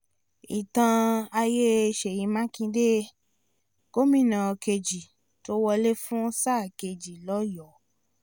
ìtàn ayé sèyí mákindé gómìnà kejì tó wọlé fún sáà kejì lọ́yọ̀ọ́ o